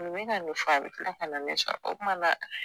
O be ka nin fɔ a be kila ka na ne sɔrɔ o kuma la